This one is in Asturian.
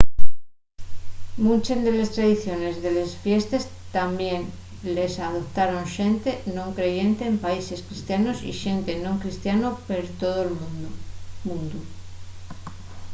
munches de les tradiciones de les fiestes tamién les adoptaron xente non creyente en países cristianos y xente non cristiano per tol mundu